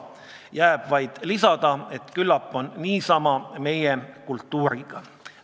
" Jääb vaid märkida, et küllap on niisama meie kultuuriga.